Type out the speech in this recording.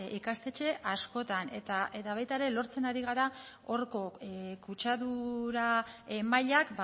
ikastetxe askotan eta baita ere lortzen ari gara horko kutsadura mailak